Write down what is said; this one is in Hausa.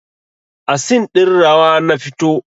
A scene ɗin rawa na fito